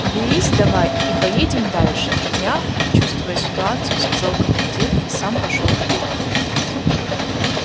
берись давай и поедем дальше мягко чувствуя ситуацию сказал командир и сам пошёл вперёд